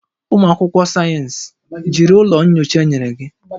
Ụmụ akwụkwọ sayensị, jiri ụlọ nyocha enyere gị